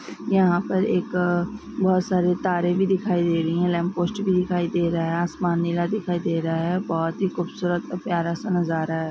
यहाँ पर एक अअ बोहत सारे तारे भी दिखाई दे रही हैं लैम्पपोस्ट भी दिखाई दे रहा हैं आसमान नीला दिखाई दे रहा हैं बोहत ही खूबसूरत और प्यारा सा नज़ारा हैं।